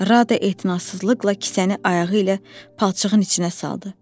Rada etinasızlıqla kisəni ayağı ilə palçığın içinə saldı.